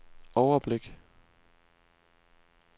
overblik